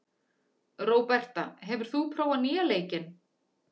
Róberta, hefur þú prófað nýja leikinn?